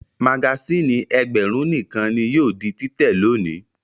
Magasínì ẹgbẹ̀rún nìkan ni yóò di títẹ̀ lónìí.